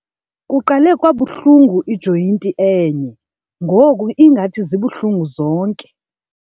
Kuqale kwabuhlungu ijoyinti enye ngoku ngathi zibuhlungu zonke.